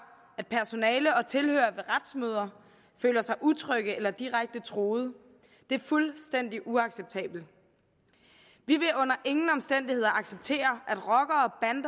at personale og tilhørere ved retsmøder føler sig utrygge eller direkte truet det er fuldstændig uacceptabelt vi vil under ingen omstændigheder acceptere at rockere